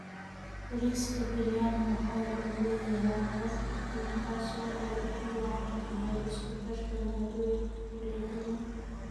Bariiska Biryani waxa uu leeyahay caraf udgoon taas oo ay ugu wacan tahay isku darka maaddooyinka kala duwan.